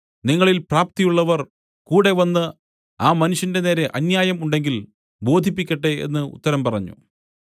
നിങ്ങളിൽ പ്രാപ്തിയുള്ളവർ കൂടെ വന്ന് ആ മനുഷ്യന്റെ നേരെ അന്യായം ഉണ്ടെങ്കിൽ ബോധിപ്പിക്കട്ടെ എന്ന് ഉത്തരം പറഞ്ഞു